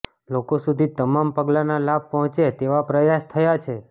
લોકો સુધી તમામ પગલાના લાભ પહોંચે તેવા પ્રયાસ થયા છે